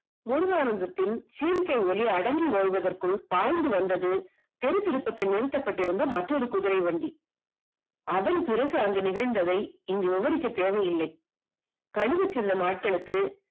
முருகானந்தத்தின் சீர்கே ஒளி அடங்கி ஓய்வதற்குள் பாய்ந்து வந்தது திருத்திருப்பத்தில் நீண்டு கொண்டிருந்த மற்றொரு குதிரை வண்டி அதன் அதன் பிறகு அங்கு நேர்ந்ததை விவரிக்க தேவையில்லை கனிவுச் சின்ன ஆட்களுக்கு